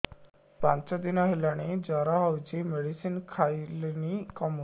ପାଞ୍ଚ ଦିନ ହେଲାଣି ଜର ହଉଚି ମେଡିସିନ ଖାଇଲିଣି କମୁନି